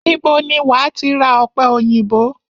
Ibo ni wàá ti ra ọ̀pẹ òyìnbó?